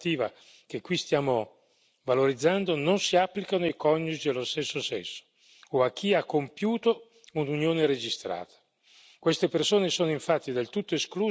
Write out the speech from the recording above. Quegli stessi diritti e quegli stessi progressi della normativa che qui stiamo valorizzando non si applicano ai coniugi dello stesso sesso o a chi ha compiuto un'unione registrata.